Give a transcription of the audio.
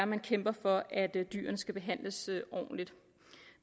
man kæmper for at dyrene skal behandles ordentligt